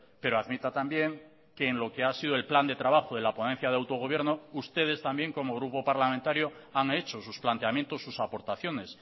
pero admita también que en lo que ha sido el plan de trabajo de la ponencia de autogobierno ustedes también como grupo parlamentario han hecho sus planteamientos sus aportaciones